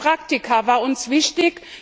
Die Rolle der Praktika war uns wichtig.